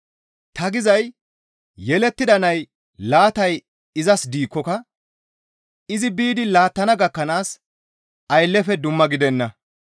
Ta gizay yelettida nay laatay izas gidikkoka izi biidi laattana gakkanaas ayllefe dumma gidenna.